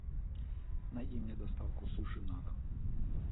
найди мне доставку суши на дом